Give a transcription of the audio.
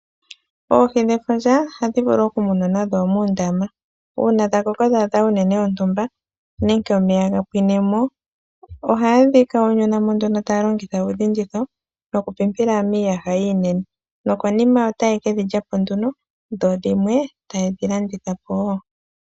Oohi dhefundja oha dhi vulu oku munwa nadho muundama, uuna dha koko dha adha uunene wontumba, nenge omeya ga pwinemo, oga ye dhi kaununamo nduno ta ya longitha uudhinditho no ku pimpila miiyaha iinene, nokonima ota ye ke dhi lyapo nduno, dho dhimwe ya ye dhi landithapo woo.